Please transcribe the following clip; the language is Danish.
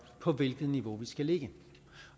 på hvilket niveau vi skal ligge